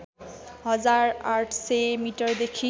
हजार ८०० मिटरदेखि